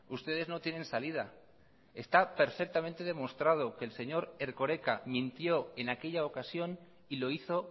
ustedes no tienen salida está perfectamente demostrado que el señor erkoreka mintió en aquella ocasión y lo hizo